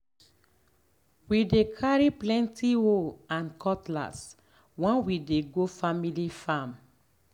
we dey carry plenty hoe and cutlass when we dey go family farm.